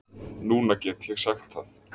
Núna get ég sagt það.